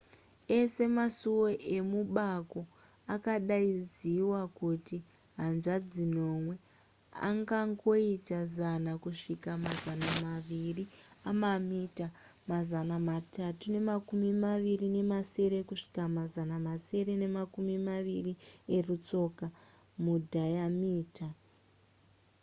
ese masuwo emubako akadaidziwa kuti hanzvadzi nomwe angangoita zana kusvika mazana maviri emamita mazana matatu nemakumi maviri nemasere kusvika mazana masere nemakumi maviri erutsoka mudhayamita